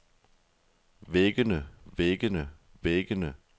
væggene væggene væggene